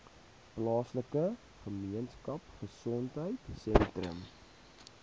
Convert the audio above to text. plaaslike gemeenskapgesondheid sentrum